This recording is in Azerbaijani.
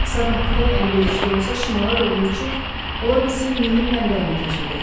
Sabah külək əlverişli olsa şimala doğru uçub, ola bilsin Nilin mənbəyini kəşf edəcəyik.